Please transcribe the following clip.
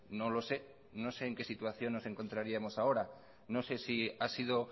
no lo sé no sé en qué situación nos encontraríamos ahora no sé si ha sido